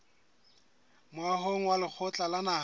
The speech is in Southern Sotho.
moahong wa lekgotla la naha